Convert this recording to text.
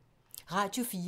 Radio 4